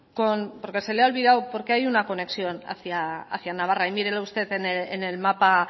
con porque se le ha olvidado porque hay una conexión hacia navarra y mírelo usted en el mapa